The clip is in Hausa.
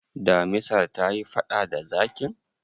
damisar ta yi faɗa da zakin?